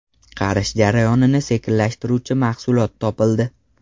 Qarish jarayonini sekinlashtiruvchi mahsulot topildi.